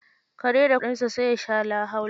Kare da kuɗinsa, sai ya sha lahaula.